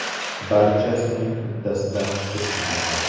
Barchasining uddasidan chiqish mumkin.